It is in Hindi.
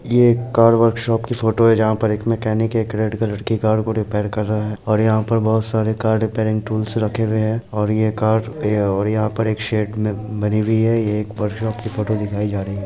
ये एक कार वर्कशॉप की फोटो है जहाँ पर एक मैकेनिक एक रेड कलर की कार को रिपेयर कर रहा है और यहाँ पर बहुत सारी कार रिपेयरिंग टूल्स रखे हुए हैं और ये कार दिया हुआ है और यहाँ पर एक शेड में बनी हुई है ये एक वर्कशॉप की फोटो दिखाई जा रही है।